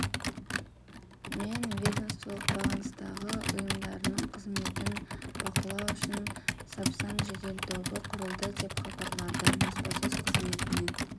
мен ведомстволық бағыныстағы ұйымдарының қызметін бақылау үшін сапсан жедел тобы құрылды деп хабарлады баспасөз қызметінен